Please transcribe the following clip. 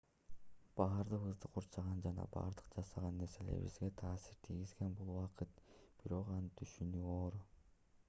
бардыгыбызды курчаган жана бардык жасаган нерселерибизге таасир тийгизген бул убакыт бирок аны түшүнүү оор